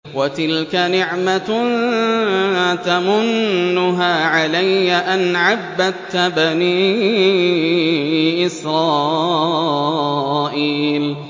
وَتِلْكَ نِعْمَةٌ تَمُنُّهَا عَلَيَّ أَنْ عَبَّدتَّ بَنِي إِسْرَائِيلَ